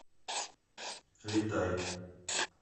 летай